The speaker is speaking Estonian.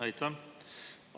Aitäh!